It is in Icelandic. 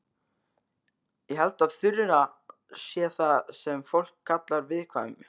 Ég held að Þura sé það sem fólk kallar viðkvæm.